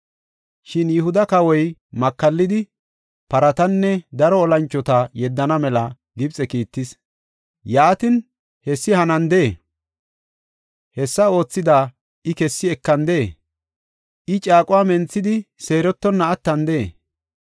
Shin Yihuda kawoy makallidi, paratanne daro olanchota yeddana mela Gibxe kiittis. Yaatin hessi hanandee? Hessa oothida I kessi ekandee? I caaquwa menthidi seerettonna attandee?”